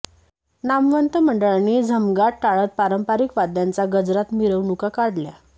नामवंत मंडळांनी झमगाट टाळत पारंपरिक वाद्याच्या गजरात मिरवणुका काढल्या